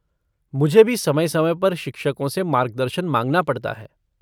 मुझे भी समय समय पर शिक्षकों से मार्गदर्शन मांगना पड़ता है।